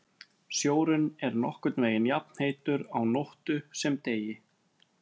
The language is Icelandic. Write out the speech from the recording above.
Sjórinn er nokkurn veginn jafnheitur á nóttu sem degi.